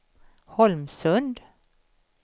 Holmsund